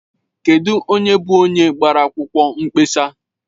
Kedụ onye bụ onye gbara akwụkwọ nkpesa?